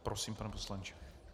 Prosím, pane poslanče.